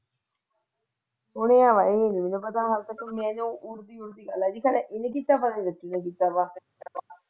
ਉਹਦਾ ਪਤਾ ਨਹੀਂ ਕੀ ਇਹਨੇ ਕੀਤਾ ਵਾ ਕੇ ਰਜ਼ੀ ਨੇ ਕੀਤਾ।